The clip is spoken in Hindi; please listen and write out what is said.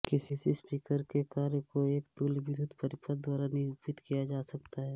किसी स्पीकर के कार्य को एक तुल्य विद्युत परिपथ द्वारा निरुपित किया जा सकता है